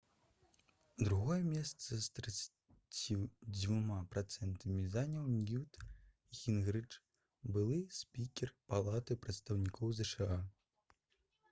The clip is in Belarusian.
другое месца з 32 працэнтамі заняў ньют гінгрыч былы спікер палаты прадстаўнікоў зша